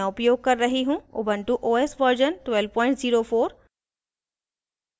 ubuntu os version 1204